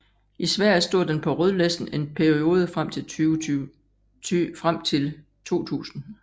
I Sverige stod den på rødlisten en periode frem til 2000